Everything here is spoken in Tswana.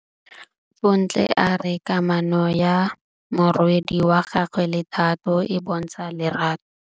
Bontle a re kamanô ya morwadi wa gagwe le Thato e bontsha lerato.